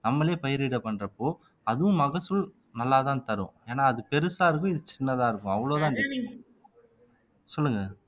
நம்மளே பயிரிட பண்றப்போ அதுவும் மகசூல் நல்லா தான் தரும் ஏன்னா அது பெருசா இருக்கும் இது சின்னதா இருக்கும் அவ்ளோதான் சொல்லுங்க